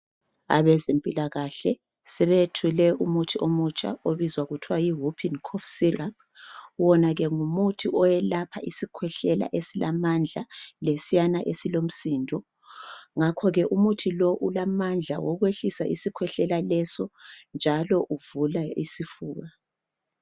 Abezempilakahle sebeyethule umuthi omutsha obizwa kuthiwa yi"Whoopin cough syrup" wona ke ngumuthi oyelapha isikhwehlela esilamandla, lesiyana esilomsindo. Ngakhoke umuthi lo ulamandla okwehlisa isikhwehlela leso njalo uvula isifuba.